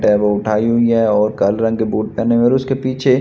tab उठाई हुई है और काले रंग के बूट पहने हुए और उसके पीछे--